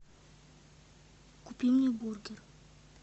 купи мне бургер